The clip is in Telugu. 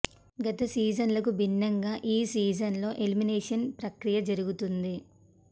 గత సీజన్లకు భిన్నంగా ఈ సీజన్ లో ఎలిమినేషన్ ప్రక్రియ జరుగుతోంది